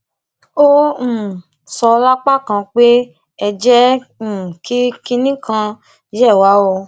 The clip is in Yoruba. ó um sọ lápá kan pé ẹ jẹ um kí kinní kan yé wa o